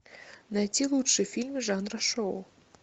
найти лучшие фильмы жанра шоу